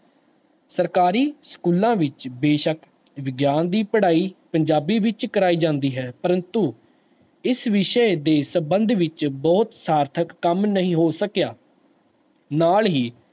ਸਰਕਾਰੀ ਸਕੂਲਾਂ ਵਿੱਚ ਬੇਸ਼ਕ ਵਿਗਿਆਨ ਦੀ ਪੜ੍ਹਾਈ ਪੰਜਾਬੀ ਵਿੱਚ ਕਰਵਾਈ ਜਾਂਦੀ ਹੈ, ਪ੍ਰੰਤੂ ਇਸ ਵਿਸ਼ੇ ਦੇ ਸੰਬੰਧ ਵਿੱਚ ਬਹੁਤ ਸਾਰਥਕ ਕੰਮ ਨਹੀਂ ਹੋ ਸਕਿਆ, ਨਾਲ ਹੀ